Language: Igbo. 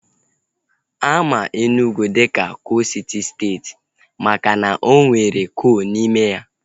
Ama Enugwu dịka koolu siti steeti makana o nwere koolu n'ime ya